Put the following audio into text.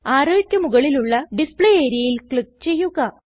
arrowക്ക് മുകളിലുള്ള ഡിസ്പ്ലേ areaയിൽ ക്ലിക്ക് ചെയ്യുക